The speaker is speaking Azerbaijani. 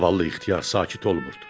Zavallı ixtiyar sakit olmurdu.